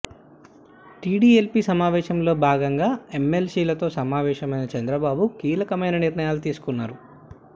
TDLP సమావేశంలో భాగంగా ఎమ్మెల్సీలతో సమావేశమైన చంద్రబాబు కెలకమైన నిర్ణయాలు తీసుకున్నారు